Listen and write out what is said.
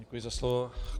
Děkuji za slovo.